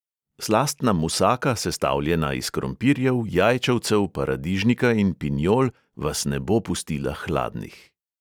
Slastna musaka, sestavljena iz krompirjev, jajčevcev, paradižnika in pinjol, vas ne bo pustila hladnih.